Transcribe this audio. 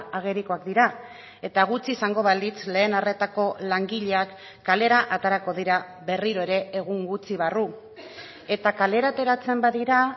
agerikoak dira eta gutxi izango balitz lehen arretako langileak kalera aterako dira berriro ere egun gutxi barru eta kalera ateratzen badira